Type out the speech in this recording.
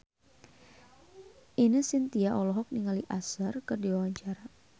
Ine Shintya olohok ningali Usher keur diwawancara